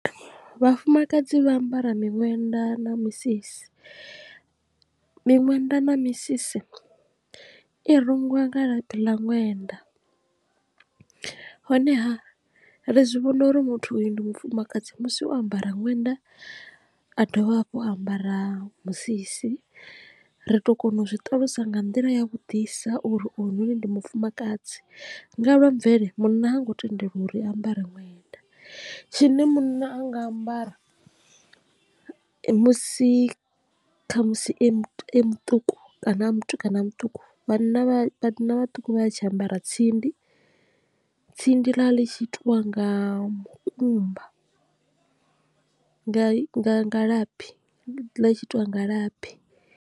Vhafumakadzi vha ambara miṅwenda na misisi, miṅwenda na misisi i rungiwa nga labi ḽa ṅwenda honeha ri zwi vhona uri muthu uyu ndi mufumakadzi musi o ambara ṅwenda a dovha hafhu a ambara musisi ri tu kona u zwi ṱalusa nga nḓila ya vhudisa uri uyu noni ndi mufumakadzi nga lwa mvele munna ha ngo tendelwa u ri ambara ṅwenda, tshine munna a nga ambara musi khamusi e muṱuku kana a mutukana muṱuku vhanna vhana vhaṱuku vha tshi ambara tsindi, tsindi ḽa ḽi tshi itiwa nga mukumba nga nga nga labi ḽa tshi itiwa nga labi.